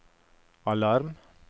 alarm